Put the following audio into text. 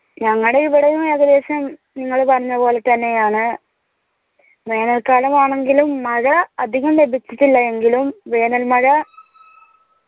ഞങ്ങടെ ഇവിടെയും ഏകദേശം നിങ്ങള് പറഞ്ഞെ പോലെ തന്നെയാണ് വേനൽ കാലം ആണെങ്കിലും മഴ അധികം ലഭിച്ചിട്ടില്ല എങ്കിലും വേണേൽ മഴ